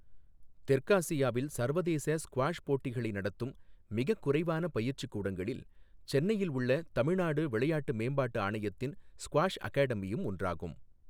தெற்காசியாவில் சர்வதேச ஸ்குவாஷ் போட்டிகளை நடத்தும் மிகக் குறைவான பயிற்சி கூடங்களில் சென்னையில் உள்ள தமிழ்நாடு விளையாட்டு மேம்பாட்டு ஆணையத்தின் ஸ்குவாஷ் அகாடமியும் ஒன்றாகும்.